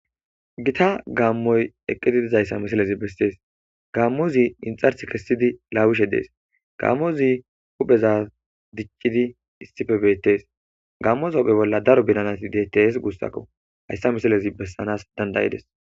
gita gaammoy eqqidi dizayssa misalezi bessees gaammozi inxars kessidi laawishe dees gaammozi hupheza dicidi issife beettees gaammos hophe bolla daro bidanati deettes guussakko hayssa misilezi bessanas dandayides.